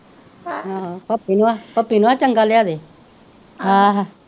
ਹਾਂ ਪੱਪੀ ਨੂੰ ਆਖ ਪੱਪੀ ਨੂੰ ਆਖ ਚੰਗਾ ਲਿਆ ਦੇ